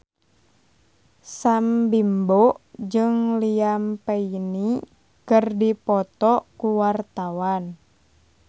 Sam Bimbo jeung Liam Payne keur dipoto ku wartawan